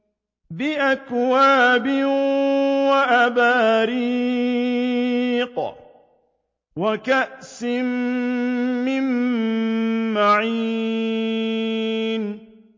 بِأَكْوَابٍ وَأَبَارِيقَ وَكَأْسٍ مِّن مَّعِينٍ